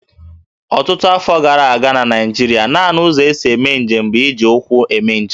Ọtụtụ afọ gara aga na Naịjirịa, nanị ụzọ e si eme njem bụ iji ụkwụ eme njem